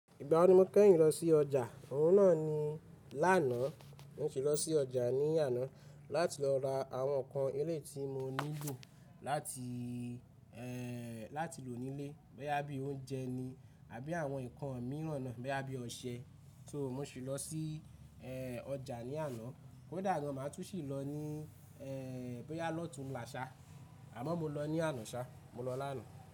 Ìgbá wo ni mo kẹ́yìn lọ sí ọjà? Òun náà ni lánàá mo si lọ sí ọjà ní àná láti lọ ra àwọn ǹkan eléyìí tí mo nílò láti, ẹ́ẹ́, láti lò nílé bóyá bí oúnjẹ ni àbí àwọn nǹkan mìíràn náà, bóyá bí ọṣẹ. So mo sì lọ sí, ẹ́ẹ́, ọjà ní àná, kòdà gan, màá tún sì lọ ní, ẹ́ẹ́, bóyá lọ̀túnlà sá àmọ́ mo lọ ní àná sá, mo lọ lánàá.